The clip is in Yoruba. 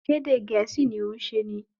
Ṣé ẹ̀dẹ̀ Gẹ̀ẹ́sì ni òún ṣe ni?